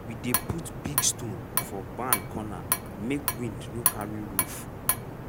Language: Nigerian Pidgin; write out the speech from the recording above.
most of our storage tools na hand we dey use make them or we dey make dem from other things.